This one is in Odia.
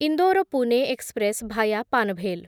Indore Pune express via Panvel